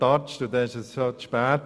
Dann ist es bereits zu spät.